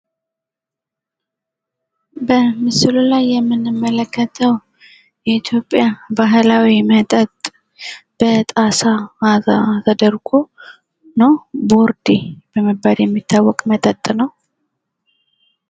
በምስሉ ላይ የምንመለከተዉ የኢትዮጵያ ባህላዊ መጠጥ፤ በጣሳ ተደርጎ የሚጠጣ "ቦርዴ" በመባል የሚታወቅ መጠጥ ነዉ።